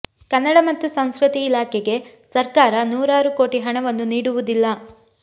ಕನ್ನಡ ಮತ್ತು ಸಂಸ್ಕೃತಿ ಇಲಾಖೆಗೆ ಸರ್ಕಾರ ನೂರಾರು ಕೋಟಿ ಹಣವನ್ನು ನೀಡುವುದಿಲ್ಲ